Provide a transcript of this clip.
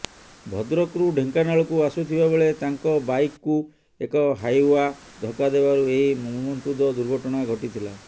ଭଦ୍ରକରୁ ଢେଙ୍କାନାଳକୁ ଆସୁଥିବାବେଳେ ତାଙ୍କ ବାଇକକୁ ଏକ ହାଇୱା ଧକ୍କା ଦେବାରୁ ଏହି ମର୍ମନ୍ତୁଦ ଦୁର୍ଘଟଣା ଘଟିଥିଲା